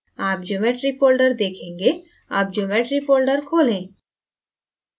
आप geometry folder देखेंगे अब geometry folder खोलें